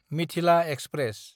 Mithila express